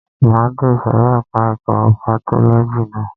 Máa de ìsòrí ẹka ẹ̀kọ́ patọ́lọ́jì ná.